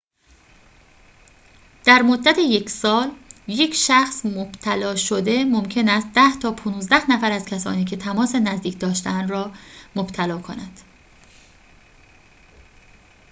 در مدت یک سال ‌یک شخص مبتلا شده ممکن است ۱۰ تا ۱۵ نفر از کسانی که تماس نزدیک داشته‌اند را مبتلا کند